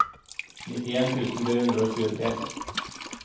nitten tusen tre hundre og tjuetre